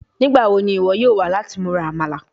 Nigbawo ni iwọ yoo wa lati mura Amala?